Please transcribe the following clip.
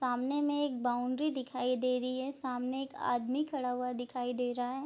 सामने में एक बाउंड्री दिखाई दे रही है सामने एक आदमी खड़ा हुआ दिखाई दे रहा है।